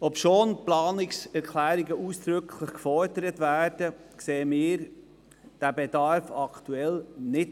Obwohl ausdrücklich mit Planungserklärungen gefordert, sehen wir diesen Bedarf im Moment nicht.